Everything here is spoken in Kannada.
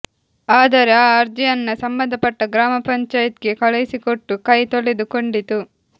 ಆದರೆ ಈ ಅರ್ಜಿಯನ್ನ ಸಂಬಂಧಪಟ್ಟ ಗ್ರಾಮಪಂಚಾಯತ್ ಗೆ ಕಳುಹಿಸಿಕೊಟ್ಟು ಕೈ ತೊಳೆದು ಕೊಂಡಿತು